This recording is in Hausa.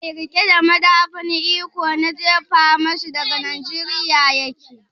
Zakara mai riƙe da madafun iko na jefa mashi daga Nijeriya yake?